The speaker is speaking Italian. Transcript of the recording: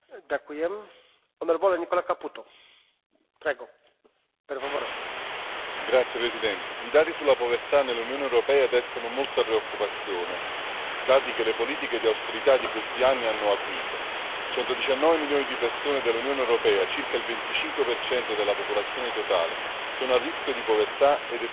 Signor Presidente, onorevoli colleghi, i dati sulla povertà nell'Unione europea destano molta preoccupazione, dati che le politiche di austerità di questi anni hanno acuito 119 milioni di persone dell'Unione europea, circa il 25 della popolazione totale, sono a rischio di povertà ed esclusione sociale,